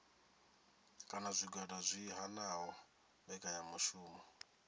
kana zwigwada zwi hanaho mbekanyamishumo